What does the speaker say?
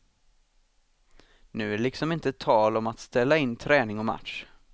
Nu är det liksom inte tal om att ställa in träning och match.